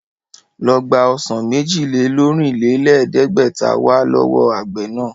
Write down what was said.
Ló gbà ọsàn méjì-lé-lọ́rìnlẹ̀ẹ́dẹ́gbẹ̀ta wá lọ́wọ́ àgbẹ̀ náà!